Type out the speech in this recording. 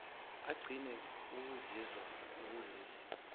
agcina ukuzizwa ekulesi